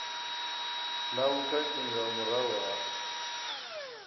na vhukhakhi nga murahu ha